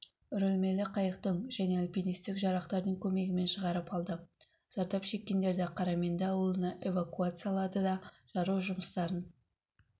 үрілмелі қайықтың және альпинистік жарақтардың көмегімен шығарып алды зардап шеккендерді қараменді ауылына эвакуациялады да жару жұмыстарын